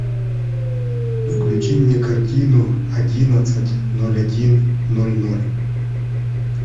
включи мне картину одиннадцать ноль один ноль ноль